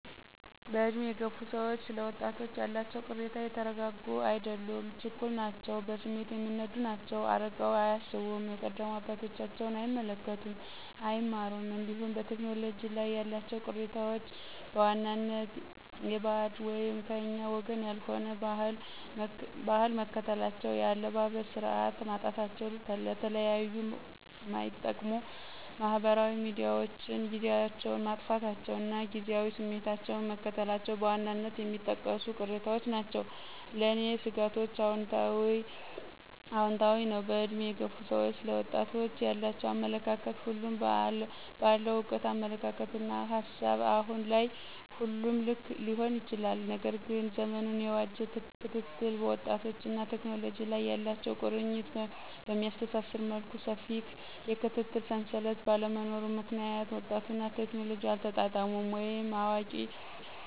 በዕድሜ የገፉ ሰዎች ስለ ወጣቶች ያላቸው ቅሬታ የተረጋጉ አይደሉም ችኩል ናቸው በስሜት የሚነዱ ናቸው አርቀው አያስቡም የቀደሙ አባቶቻቸውን አይመለከቱም አይማሩም እንዲሁም በቴክኖሎጂ ላይ ያላቸው ቅሬታዎች በዋናነት የበዓድ /ከኛ ወገን ያልሆነ/ ባህል መከተላቸው የአለባበስ ስርዓት ማጣታቸው ለተለያዩ ማይጠቅሙ ማህበራዊ ሚዲያዎችን ጊዚያቸውን ማጥፋታቸው እና ጊዚያዊ ስሜታቸውን መከተላቸው በዋናነት የሚጠቀሱ ቅሬታዎች ናቸው። ለኔ ስጋቶችአውንታዊ ነው በእድሜ የገፉ ሰዎች ለወጣቶች ያላቸው አመለካከት ሁሉም በአለው እውቀት አመለካከትና ሀሳብ አሁን ላይ ሁሉም ልክ ሊሆን ይችላል። ነገር ግን ዘመኑን የዋጄ ክትትል ወጣቶችንና ቴክኖሎጂ ላይ ያላቸው ቁርኝት በሚያስተሳስር መልኩ ሰፊ የክትትል ሰንሰለት ባለመኖሩ ምክንያት ወጣቱና ቴክኖሎጂ አልተጣጣሙም ወይም የአዋቂ ሰዎች አሳዳጊዎች ክትትል ማነስ